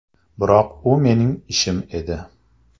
Biroq u mening ishim edi.